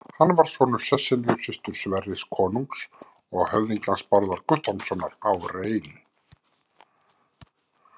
Hann var sonur Sesselju, systur Sverris konungs og höfðingjans Bárðar Guttormssonar á Rein.